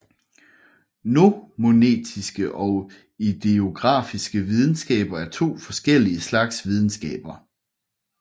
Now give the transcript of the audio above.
Nomotetiske og idiografiske videnskaber er to forskellige slags videnskaber